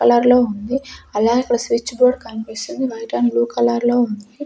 Colour లో ఉంది అలాగె ఇక్కడ స్విచ్ బోర్డ్ కన్పిస్తుంది వైట్ అండ్ బ్లూ కలర్ లో ఉంది.